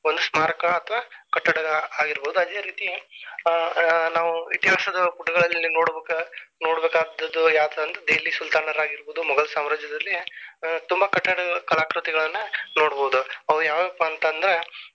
ಒಂದ ಸ್ಮಾರಕ ಅಥವಾ ಕಟ್ಟಡ ಆಗಿರಬಹುದು. ಅದೇ ರೀತಿ ಆ ನಾವು ಇತಿಹಾಸದ ಪುಟಗಳಲ್ಲಿ ನೋಡಬೇಕ ನೋಡಬೇಕಾದದ್ದು ಯಾವಾದ ಅಂದ್ರ ದೆಹಲಿ ಸುಲ್ತಾನರ ಆಗಿರಬಹುದು ಮೊಘಲ ಸಾಮ್ರಾಜ್ಯದಲ್ಲಿ ತುಂಬಾ ಕಟ್ಟಡ ಕಲಾಕೃತಿಗಳನ್ನಾ ನೋಡಬಹುದು ಅವ ಯಾವ್ಯಾವ ಪಾ ಅಂತಂದ್ರ.